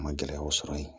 A ma gɛlɛyaw sɔrɔ yen